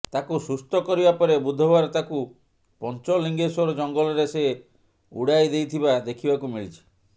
ତାକୁ ସୁସ୍ଥ କରିବା ପରେ ବୁଧବାର ତାକୁ ପଞ୍ଚଲିଙ୍ଗେଶ୍ୱର ଜଙ୍ଗଲରେ ସେ ଉଡ଼ାଇ ଦେଇଥିବା ଦେଖିବାକୁ ମିଳିଛି